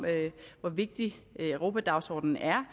hvor vigtig europadagsordenen er